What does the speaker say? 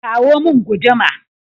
kawo min guduma!